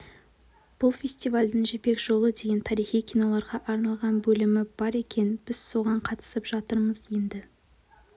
бұл фестивальдің жібек жолы деген тарихи киноларға арналған бөлімі бар екен біз соған қатысып жатырмыз енді